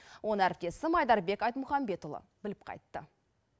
оны әріптесім айдарбек айтмұхамбетұлы біліп қайтты